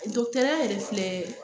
ya yɛrɛ filɛ